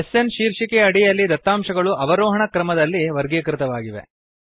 SN ಶೀರ್ಷಿಕೆಯ ಅಡಿಯಲ್ಲಿ ದತ್ತಾಂಶಗಳು ಅವರೋಹಣ ಕ್ರಮದಲ್ಲಿ ವರ್ಗೀಕೃತವಾಗಿವೆ